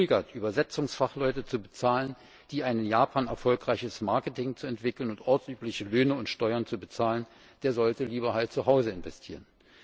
Wer zögert, Übersetzungsfachleute zu bezahlen, ein in Japan erfolgreiches Marketing zu entwickeln und ortsübliche Löhne und Steuern zu bezahlen, der sollte lieber zu Hause investieren.